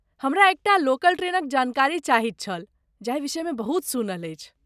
हमरा एकटा लोकल ट्रेनक जानकारी चाहैत छल जाहि विषयमे बहुत सुनल अछि।